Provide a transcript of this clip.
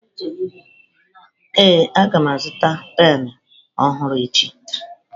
Ee a ga m azụta penụ ọhụrụ echi.